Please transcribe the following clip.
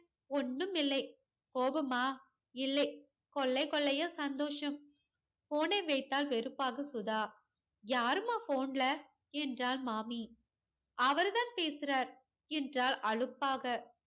ஒன்னும் இல்லை கோவமா இல்லை கொள்ளை கொள்ளையா சந்தோசம் phone ஐ வைத்தால் வெறுப்பாக சுதா ஆறுமா phone ல என்றால் மாமி அவர்தான் பேசுறார் என்றால் அலுப்பாக